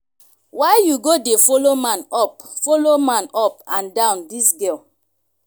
why you go dey follow man up follow man up and down dis girl